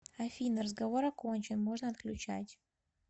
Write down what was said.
афина разговор окончен можно отключать